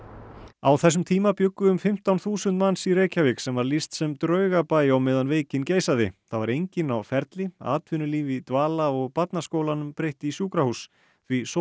á þessum tíma bjuggu um fimmtán þúsund manns í Reykjavík sem var lýst sem draugabæ á meðan veikin geisaði það var enginn á ferli atvinnulíf í dvala og barnaskólanum breytt í sjúkrahús því